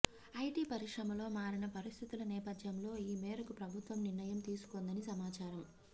IT పరిశ్రమలో మారిన పరిస్థితుల నేపథ్యంలో ఈ మేరకు ప్రభుత్వం నిర్ణయం తీసుకొందని సమాచారం